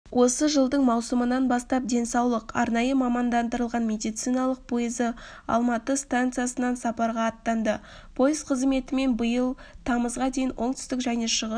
осы жылдың маусымынан бастап денсаулық арнайы мамандандырылған медициналық пойызы алматы станциясынан сапарға аттанды пойыз қызметімен биыл тамызға дейін оңтүстік және шығыс